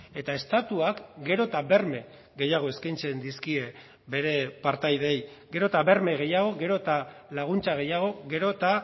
eta estatuak gero eta berme gehiago eskaintzen dizkie bere partaideei gero eta berme gehiago gero eta laguntza gehiago gero eta